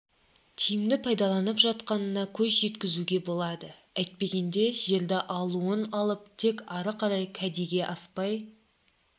тиімді пайдаланылып жатқанына көз жеткізуге болады әйтпегенде жерді алуын алып тек ары қарай кәдеге аспай